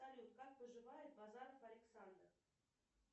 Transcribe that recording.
салют как поживает базаров александр